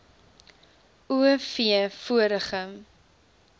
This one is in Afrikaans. o v vorige